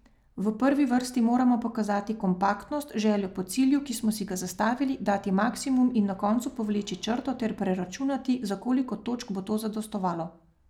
V prvi vrsti moramo pokazati kompaktnost, željo po cilju, ki smo si ga zastavili, dati maksimum in na koncu povleči črto ter preračunati, za koliko točk bo to zadostovalo.